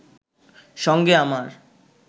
সঙ্গে আমার